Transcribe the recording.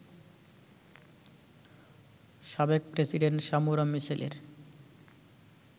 সাবেক president Samora মিচেলের